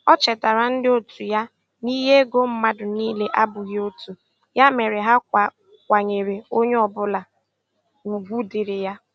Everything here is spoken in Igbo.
O chetara ndị otu ya na ihe ego mmadụ niile abụghị otu, ya mere ha kwanyere onye ọ bụla ugwu dịrị ya.